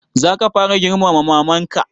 Za ka fara girmama maman ka?